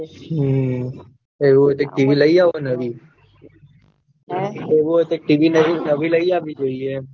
હમ એવું હોય તો એક tv લઇ આવો નવી એવું હોય તો એક tv નવી લઇ આવવી જોયીયે